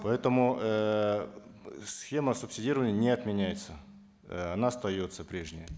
поэтому эээ схема субсидирования не отменяется э она остается прежней